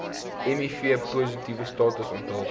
mivpositiewe status onthul